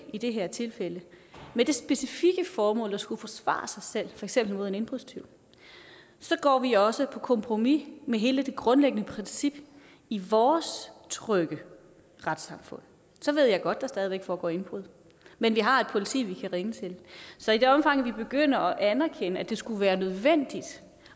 i det her tilfælde med det specifikke formål at skulle forsvare sig selv mod en indbrudstyv går vi også på kompromis med hele det grundlæggende princip i vores trygge retssamfund så ved jeg godt at der stadig væk foregår indbrud men vi har et politi som vi kan ringe til så i det omfang vi begynder at anerkende at det skulle være nødvendigt